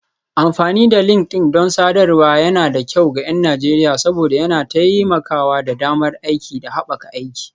Amfani da LinkedIn don sadarwar yana da kyau ga 'yan Najeriya saboda yana taimakawa da damar aiki da haɓaka aiki.